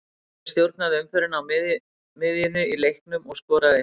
Laufey stjórnaði umferðinni á miðjunni í leiknum og skoraði eitt mark.